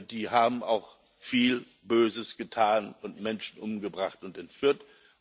Die haben auch viel Böses getan und Menschen umgebracht und entführt.